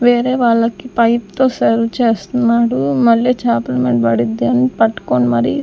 వేరే వాళ్ళకి పైప్ తో సర్వ్ చేస్తున్నాడు మళ్ళీ చాపల మీద పడుద్ది అని పట్టుకుని మరి.